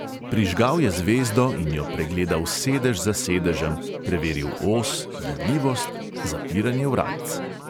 Prižgal je zvezdo in jo pregledal sedež za sedežem, preveril os, gibljivost, zapiranje vratc.